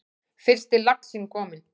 Fyrsti laxinn kominn